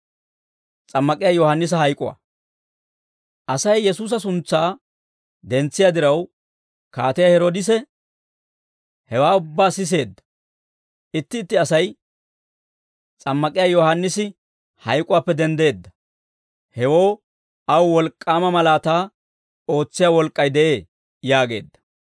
Asay Yesuusa suntsaa dentsiyaa diraw, Kaatiyaa Heroodise hewaa ubbaa siseedda; itti itti asay, «S'ammak'iyaa Yohaannisi hayk'uwaappe denddeedda; hewoo aw wolk'k'aama malaataa ootsiyaa wolk'k'ay de'ee» yaageedda.